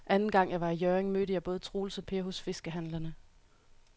Anden gang jeg var i Hjørring, mødte jeg både Troels og Per hos fiskehandlerne.